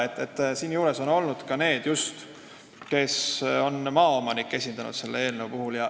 Selle eelnõu tegemise juures on olnud ka neid, kes on maaomanikke esindanud.